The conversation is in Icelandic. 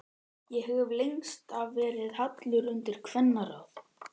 Ég hef lengst af verið hallur undir kvennaráð.